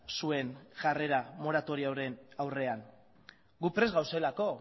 zuen jarrera moratorioaren aurrean gu prest gauzelako